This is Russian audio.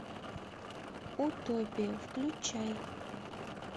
утопия включай